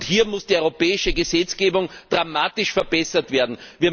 Hier muss die europäische Gesetzgebung dramatisch verbessert werden.